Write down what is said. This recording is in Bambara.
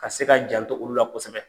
Ka se ka janto olu la kosɛbɛ.